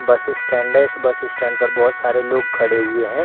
बस स्टैंड है इस बस स्टैंड पर बहुत सारे लोग खड़े हुए हैं।